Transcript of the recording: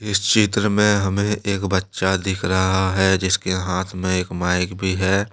इस चित्र में हमें एक बच्चा दिख रहा है जिसके हाथ में एक माइक भी है।